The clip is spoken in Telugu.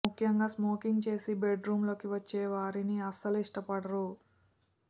ముఖ్యంగా స్మోకింగ్ చేసి బెడ్ రూములోకి వచ్చే వారిని అస్సలు ఇష్టపడరు